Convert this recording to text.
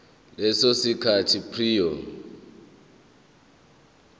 leso sikhathi prior